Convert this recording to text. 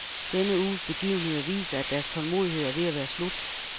Denne uges begivenheder viser, at deres tålmodighed er ved at være slut.